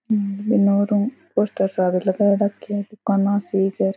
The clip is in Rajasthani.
एनो रूम पोस्टर सारे लगा रखे है कोनो सी घर --